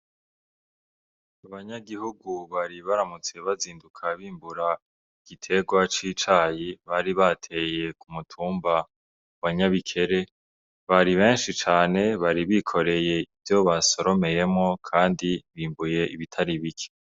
Abanyagihugu bari baramutse bazinduka bimbura igiterwa c'icayi bari bateye ku mutumba wa NYABIKERE, bari benshi cane bari bikoreye ivyo basoromeyemwo kandi bimbuye ibitari bike.